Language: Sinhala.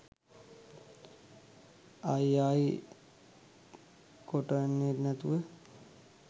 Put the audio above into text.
ආයි ආයි කොටන්නැතුව.